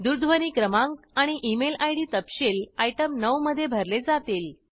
दूरध्वनी क्रमांक आणि ईमेल आयडी तपशील आयटम 9 मध्ये भरले जातील